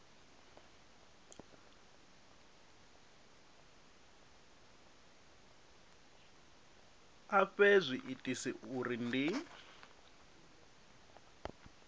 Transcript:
a fhe zwiitisi uri ndi